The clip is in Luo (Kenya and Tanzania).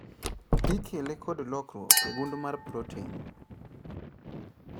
Ikele kod lokruok e gund mar proten